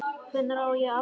Hvenær á ég afmæli?